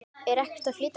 Er ekkert að flýta sér.